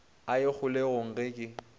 a ye kgolegong ge ke